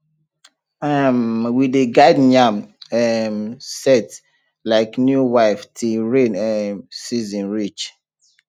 um we dey guard yam um set like new wife till rain um season reach